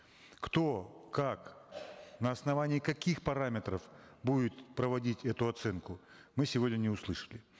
кто как на основании каких параметров будет проводить эту оценку мы сегодня не услышали